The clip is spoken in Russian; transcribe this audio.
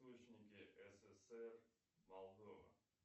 ссср молдова